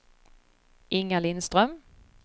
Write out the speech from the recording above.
Inga Lindström